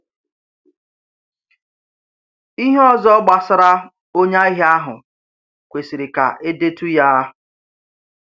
Ihe ọzọ gbasara onye ahịa àhụ̀ kwesịrị ka edetu ya.